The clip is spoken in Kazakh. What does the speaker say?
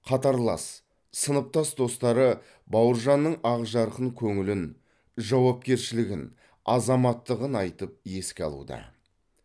қатарлас сыныптас достары бауыржанның ақ жарқын көңілін жауапкершілігін азаматтығын айтып еске алуда